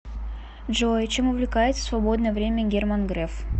джой чем увлекается в свободное время герман греф